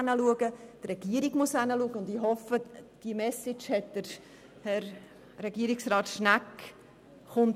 auch die Regierung muss hinschauen, und ich hoffe, diese Message ist bei Herrn Regierungsrat Schnegg angekommen.